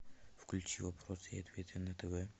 включи вопросы и ответы на тв